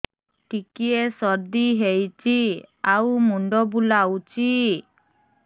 ଟିକିଏ ସର୍ଦ୍ଦି ହେଇଚି ଆଉ ମୁଣ୍ଡ ବୁଲାଉଛି